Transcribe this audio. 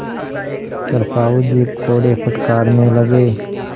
पर साहु जी कोड़े फटकारने लगे